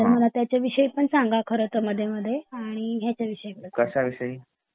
तर मला त्याचा विहायी पण संगा मध्ये मध्ये आणि ह्याचा विषयी पण